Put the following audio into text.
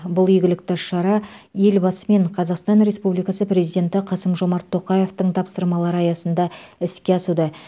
бұл игілікті шара елбасы мен қазақстан республикасы президенті қасым жомарт тоқаевтың тапсырмалары аясында іске асуда